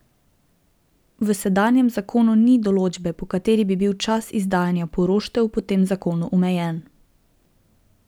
V sedanjem zakonu ni določbe, po kateri bi bil čas izdajanja poroštev po tem zakonu omejen.